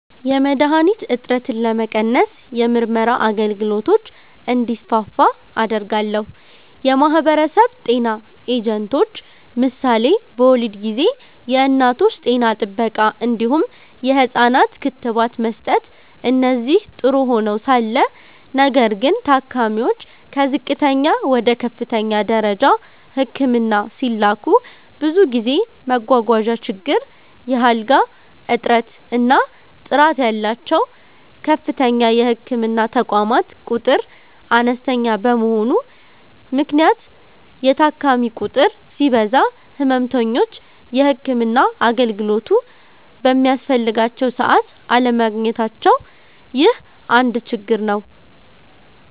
.የመድሀኒት እጥረትን ለመቀነስ የምርመራ አገልግሎቶች እንዲስፋፉ አደርጋለሁ። .የማህበረሰብ ጤና ኤጀንቶች ምሳሌ በወሊድ ጊዜ የእናቶች ጤና ጥበቃ እንዲሁም የህፃናት ክትባት መስጠት እነዚህ ጥሩ ሆነዉ ሳለ ነገር ግን ታካሚዎች ከዝቅተኛ ወደ ከፍተኛ ደረጃ ህክምና ሲላኩ ብዙ ጊዜ መጓጓዣ ችግር፣ የአልጋ እጥረት እና ጥራት ያላቸዉ ከፍተኛ የህክምና ተቋማት ቁጥር አነስተኛ በመሆኑ ምክንያት የታካሚ ቁጥር ሲበዛ ህመምተኞች የህክምና አገልግሎቱ በሚያስፈልጋቸዉ ሰዓት አለማግኘታቸዉ ይህ አንድ ችግር ነዉ።